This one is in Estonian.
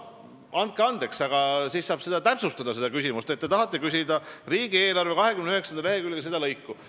Andke andeks, aga siis tuleks küsimust täpsustada, et te tahate küsida riigieelarve 29. lehekülje selle lõigu kohta.